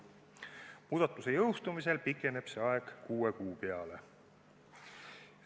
Muudatuse jõustumise korral pikeneb see aeg kuue kuu peale.